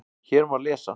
Hér má lesa